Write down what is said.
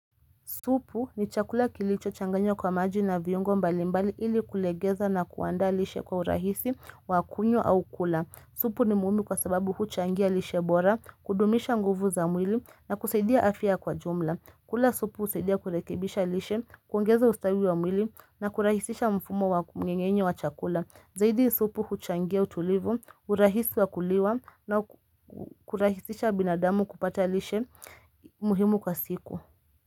Supu ni chakula kilicho changanywa kwa maji na viungo mbalimbali ili kulegeza na kuandaa lishe kwa urahisi wakunywa au kula. Supu ni nimuhimu kwa sababu huchangia lishe bora, kudumisha nguvu za mwili na kusaidia afya kwa jumla. Kula supu husaidia kurekebisha lishe, kuongeza ustawi wa mwili na kurahisisha mfumo wa mnengenye wa chakula. Zaidi supu huchangia utulivu, urahisi wa kuliwa na kurahisisha binadamu kupata lishe muhimu kwa siku.